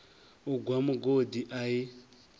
u gwa mugodi a i